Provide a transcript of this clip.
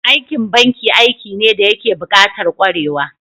Aikin banki aiki ne dayake bukatar kwarewa